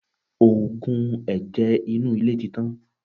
Oògùn ẹ̀jẹ̀ inú ilé ti tán.